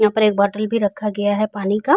यहां पर एक बोटल भी रखा गया है पानी का।